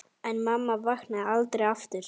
En mamma vaknaði aldrei aftur.